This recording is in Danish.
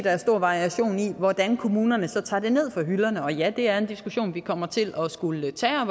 er stor variation i hvordan kommunerne så tager det ned fra hylderne og ja det er en diskussion vi kommer til at skulle tage og